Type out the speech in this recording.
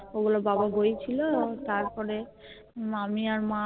ওগুলো বাবা বইছিলো তারপরে মামী আর মা